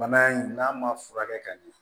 Bana in n'a ma furakɛ ka ɲɛ